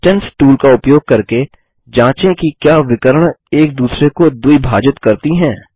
distance tool का उपयोग करके जाँचें कि क्या विकर्ण एक दूसरे को द्विभाजित करती हैं